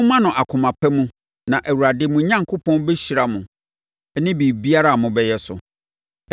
Momma no akoma pa mu na Awurade, mo Onyankopɔn, bɛhyira mo ne biribiara a mobɛyɛ so.